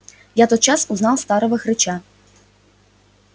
я тотчас узнал старого хрыча